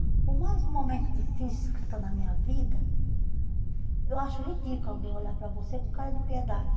Por mais momento difícil que eu estou na minha vida, uhum, eu acho ridículo alguém olhar para você com cara de piedade.